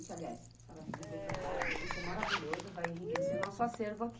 Aliás, a senhora ligou para cá, isso é maravilhoso, vai enriquecer o nosso acervo aqui.